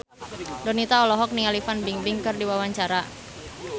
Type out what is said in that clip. Donita olohok ningali Fan Bingbing keur diwawancara